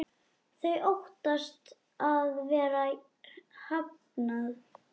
Þau óttast að vera hafnað.